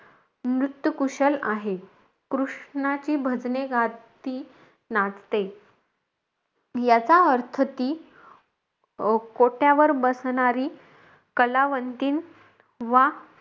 नृत्य कुशल आहे. कृष्णाची भजने गात ती नाचते. याचा अर्थ ती अं कोठ्यावर बसणारी कलावंतीण वा,